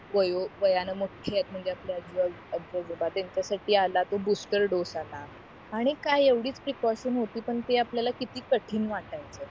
वायो वयाने मोठेथ म्हणजे आपल्या त्यांच्या साठी आला तो बूस्टर डोस आला आणि काही एव्हडीच प्रीकोसशन होती पण ती आपल्याला किती कठीण वाटली